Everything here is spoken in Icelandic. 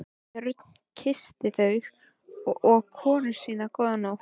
Björn kyssti þau og konu sína góða nótt.